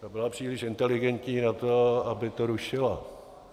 Ta byla příliš inteligentní na to, aby to rušila.